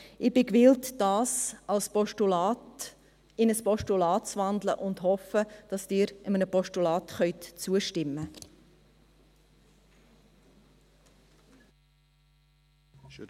Ich bin gewillt, dies in ein Postulat zu wandeln, und hoffe, dass Sie dem Postulat zustimmen können.